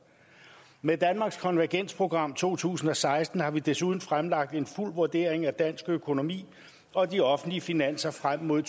med danmarks konvergensprogram to tusind og seksten har vi desuden fremlagt en fuld vurdering af dansk økonomi og de offentlige finanser frem mod